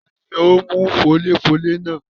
Tani ó mú fọ́léfọ́lé náà?